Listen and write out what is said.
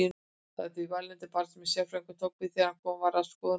Það var því vælandi barn sem sérfræðingurinn tók við þegar komið var að skoðunarstofunni.